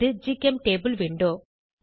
இது ஜிசெம்டபிள் விண்டோ